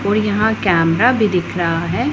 और यहां कैमरा भी दिख रहा है।